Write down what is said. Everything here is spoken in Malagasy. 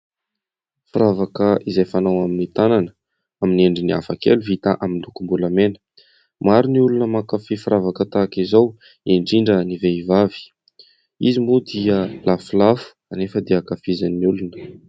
Firavaka izay fanao amin'ny tanana amin'ny endriny hafa kely vita amin'ny lokom-bolamena, maro ny olona mankafia firavaka tahaka izao indrindra ny vehivavy, izy moa dia lafolafo anefa dia ankafizan'ny olona.